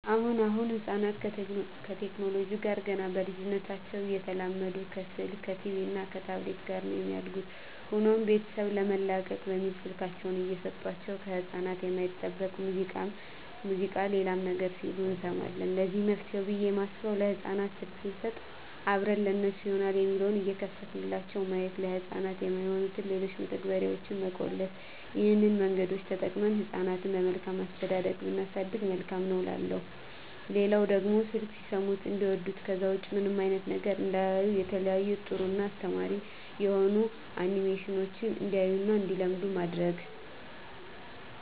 አሁን አሁን ህጻናት ከቴክኖለጂው ጋር ገና በልጂነታቸው እየተላመዱ ከስልክ ከቲቪ እና ከታብሌት ጋር ነው የሚያድጉት። ሆኖም ቤተሰብ ለመላቀቅ በሚል ስልካቸውን እየሰጦቸው ከህጻናት የማይጠበቅ ሙዚቃ ሌላም ነገር ሲሉ እንሰማለን ለዚህ መፍትሄ ብየ የማስበው ለህጻናት ስልክ ሰንሰጥ አብረን ለነሱ ይሆናል የሚለውን እየከፈትንላቸው ማየት፤ ለህጻናት የማይሆኑትን ሌሎችን መተግበርያዋች መቆለፍ ይህን መንገዶች ተጠቅመን ህጻናትን በመልካም አስተዳደግ ብናሳድግ መልካም ነው እላለሁ። ሌላው ደግሞ በስልክ ሲሰሙት እንዲዋዱት ከዛ ውጭ ምንም አይነት ነገር እንዳያዩ የተለያዩ ጥሩ እና አስተማሪ የሆኑ አኒሜሽኖችን እንዲያዩ እና እንዲለምዱ ማድረግ።